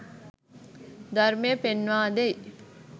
ධර්මය පෙන්වා දෙයි.